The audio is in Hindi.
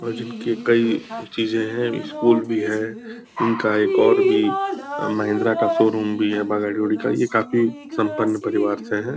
और जिनकी कई चीजें हैं स्कूल भी है। इनका एक और भी अ महिंद्रा का शो-रूम भी है ब गाड़ी वाड़ी का। ये काफ़ी सम्पन परिवार से हैं।